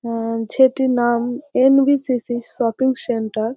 অ্যা ছেটির নাম এন.ভি.সি.সি -এর শপিং সেন্টার ।